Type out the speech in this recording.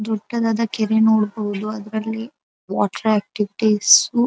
ದೊಡ್ಡದಾದ ಕೆರೆ ನೋಡಬಹುದು ಅದ್ರಲ್ಲಿ ವಾಟರ್ ಆಕ್ಟಿವಿಟೀಸ್ --